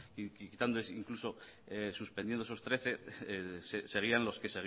quitando incluso suspendiendo esos trece seguían los que